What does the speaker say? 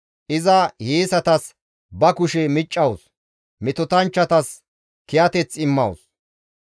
Iza hiyeesatas ba kushe miccawus; metotanchchatas kiyateth immawus.